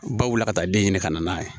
Baw wuli ka taa den ɲini ka na n'a ye